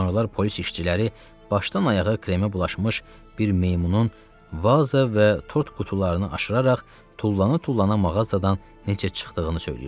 Sonralar polis işçiləri başdan-ayağa kremə bulaşmış bir meymunun vaza və tort qutularını aşıraraq tullana-tullana mağazadan necə çıxdığını söyləyirdilər.